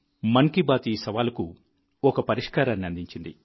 మన్ కీ బాత్ ఈ సవాలుకు ఒక పరిష్కారాన్ని అందించింది